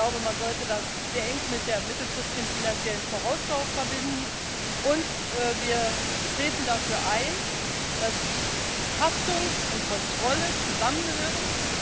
ich glaube, man sollte das sehr eng mit der mittelfristigen finanziellen Vorausschau verbinden und wir treten dafür ein, dass Haftung und Kontrolle zusammengehören.